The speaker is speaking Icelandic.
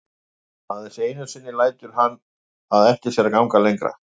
Aðeins einu sinni lætur hann það eftir sér að ganga lengra.